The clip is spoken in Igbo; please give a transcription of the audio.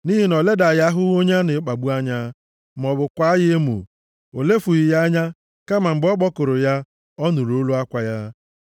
Nʼihi na o ledaghị ahụhụ onye a na-akpagbu anya maọbụ kwaa ya emo; o lefughị ya anya kama mgbe ọ kpọkuru ya, ọ nụrụ olu akwa ya.